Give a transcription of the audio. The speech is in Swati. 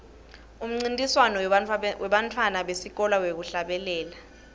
umncintiswano webantfwana besikolwa wekuhlabela